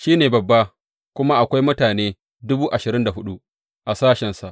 Shi ne babba kuma akwai mutane dubu ashirin da hudu a sashensa.